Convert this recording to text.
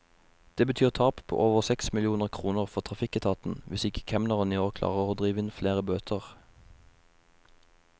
Det betyr tap på over seks millioner kroner for trafikketaten, hvis ikke kemneren i år klarer å drive inn flere bøter.